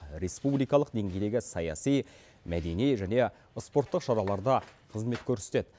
республикалық деңгейдегі саяси мәдени және спорттық шараларда қызмет көрсетеді